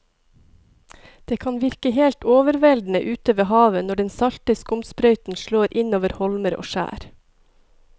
Det kan virke helt overveldende ute ved havet når den salte skumsprøyten slår innover holmer og skjær.